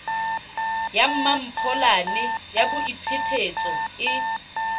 ya mmampholane ya boiphetetso e